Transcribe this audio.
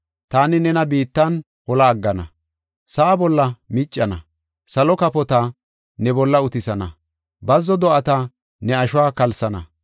Taani nena biittan hola aggana; sa7a bolla miccana; salo kafota ne bolla utisana; bazzo do7ata ne ashuwa kalsana.